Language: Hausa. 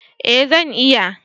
Eh zan iya